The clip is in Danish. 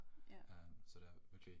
Ja